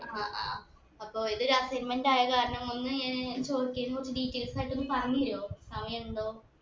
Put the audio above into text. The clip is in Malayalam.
ആ ആ അപ്പൊ ഇത് ഒരു segment ആയ കാരണം ഒന്ന് ഇങ് ചോയ്ച്ചതിന് കൊറച്ചു details ആയിട്ടൊന്ന് പറഞ്ഞു തരോ സമയിണ്ടോ